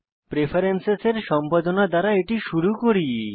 প্রেফেরেন্সেসের সম্পাদনা দ্বারা এটি শুরু করি